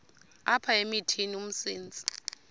apha emithini umsintsi